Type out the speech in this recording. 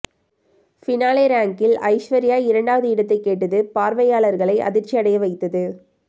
finale ரேங்கில் ஐஸ்வர்யா இரண்டாவது இடத்தை கேட்டது பார்வையாளர்களை அதிர்ச்சி அடைய வைத்தது